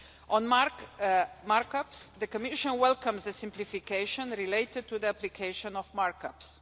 On markups, the Commission welcomes the simplification related to the application of markups.